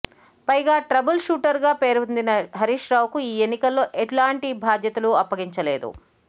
పైగా ట్రబుల్ షూటర్గా పేరొందిన హరీష్రావుకు ఈ ఎన్నికల్లో ఎలాంటి బాధ్యతలు అప్పగించలేదు